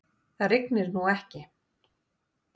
Það rignir nú ekki.